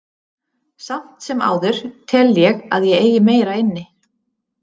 Samt sem áður tel ég að ég eigi meira inni.